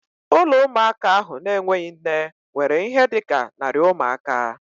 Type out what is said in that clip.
Ụlọ ụmụaka ahụ na-enweghị nne nwere ihe dị ka narị ụmụaka